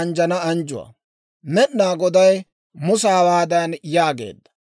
Med'inaa Goday Musa hawaadan yaageedda;